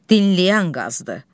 Dinləyən qazdır.